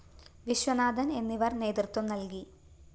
വിശ്വനാഥന്‍ എന്നിവര്‍ നേതൃത്വം നല്‍കി